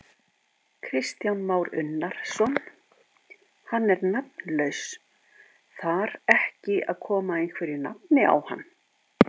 Kristján Már Unnarsson: Hann er nafnlaus, þar ekki að koma einhverju nafni á hann?